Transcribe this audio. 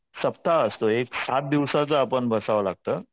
सप्ताह असतो एक सात दिवस आपण बसावं लागतं.